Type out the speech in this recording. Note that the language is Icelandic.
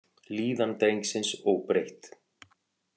Líðan drengsins óbreytt